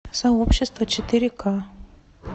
сообщество четыре ка